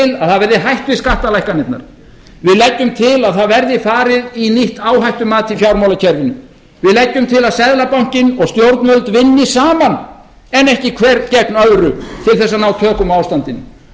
að það verði hætt við skattalækkanirnar við leggjum til að það verði farið í nýtt áhættumat í fjármálakerfinu við leggjum til að seðlabankinn og stjórnvöld vinni saman en ekki hver gegn öðru til þess að ná tökum á ástandinu